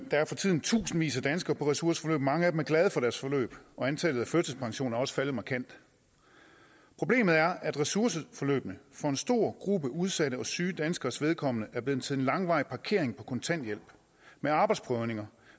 er for tiden i tusindvis af danskere på ressourceforløb mange af dem er glade for deres forløb og antallet af førtidspensioner er også faldet markant problemet er at ressourceforløbene for en stor gruppe udsatte og syge danskeres vedkommende er blevet til en langvarig parkering på kontanthjælp med arbejdsprøvninger